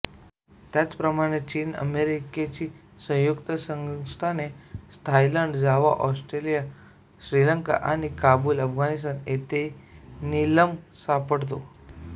त्याचप्रमाणे चीन अमेरिकेची संयुक्त संस्थाने थायलंड जावा ऑस्ट्रेलिया श्रीलंका आणि काबूल अफगाणिस्तान येथेही नीलम सापडतो